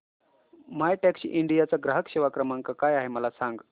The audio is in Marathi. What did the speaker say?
मायटॅक्सीइंडिया चा ग्राहक सेवा क्रमांक काय आहे मला सांग